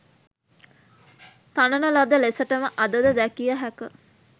තනන ලද ලෙසටම අද ද දැකිය හැක.